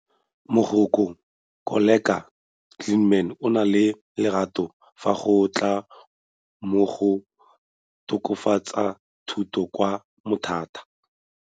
Mogokgo Koleka Gilman o na le lerato fa go tla mo go tokafatseng thuto kwa Mthatha.